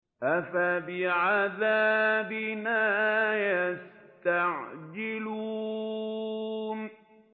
أَفَبِعَذَابِنَا يَسْتَعْجِلُونَ